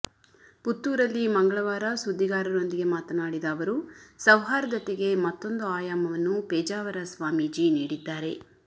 ಪುತ್ತೂರಲ್ಲಿ ಮಂಗಳವಾರ ಸುದ್ದಿಗಾರರೊಂದಿಗೆ ಮಾತನಾಡಿದ ಅವರು ಸೌಹಾರ್ದತೆಗೆ ಮತ್ತೊಂದು ಆಯಾಮವನ್ನು ಪೇಜಾವರ ಸ್ವಾಮೀಜಿ ನೀಡಿದ್ದಾರೆ